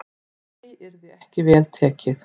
Því yrði ekki vel tekið.